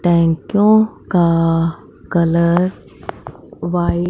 टैंकियों का colour white --